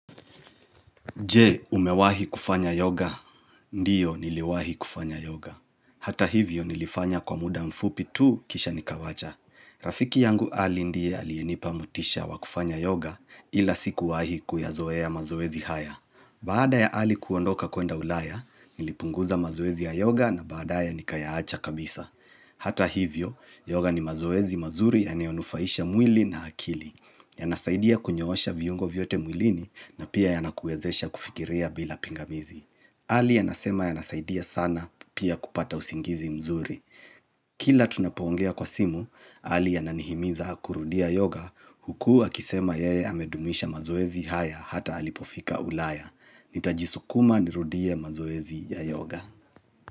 Je, umewahi kufanya yoga, ndiyo niliwahi kufanya yoga. Hata hivyo nilifanya kwa muda mfupi tu kisha nikawacha. Rafiki yangu ali ndiye aliyenipa motisha wakufanya yoga ila siku wahi kuya zoea mazoezi haya. Baada ya ali kuondoka kuenda ulaya, nilipunguza mazoezi ya yoga na baada ya nikayaacha kabisa. Hata hivyo, yoga ni mazoezi mazuri ya nayonufaisha mwili na akili. Yanasaidia kunyoosha viyungo vyote mwilini na pia yanakuwezesha kufikiria bila pingamizi. Ali yanasema yanasaidia sana pia kupata usingizi mzuri. Kila tunapoongea kwa simu, ali ananihimiza kurudia yoga huku a kisema yeye amedumisha mazoezi haya hata halipofika ulaya. Nitajisukuma ni rudia mazoezi ya yoga.